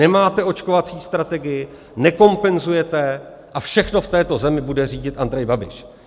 Nemáte očkovací strategii, nekompenzujete a všechno v této zemi bude řídit Andrej Babiš.